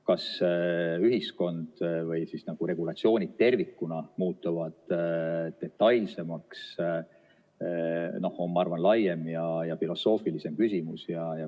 Kas regulatsioonid tervikuna muutuvad detailsemaks, on, ma arvan, laiem ja filosoofilisem küsimus.